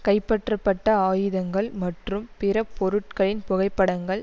கைப்பற்றப்பட்ட ஆயுதங்கள் மற்றும் பிற பொருட்களின் புகைப்படங்கள்